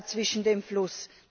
zwischen dem Fluss.